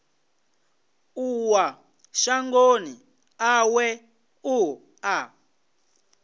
ṱuwa shangoni ḽawe u ḓa